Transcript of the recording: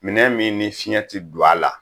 Minɛn min ni fiɲɛ tɛ don a la